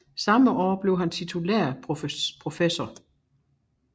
Samme år blev han titulær professor